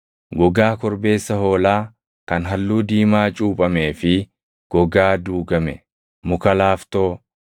gogaa korbeessa hoolaa kan halluu diimaa cuuphamee fi gogaa duugame, muka laaftoo,